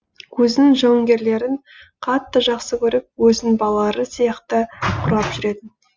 өзінің жауынгерлерін қатты жақсы көріп өзінің балалары сияқты қорғап жүретін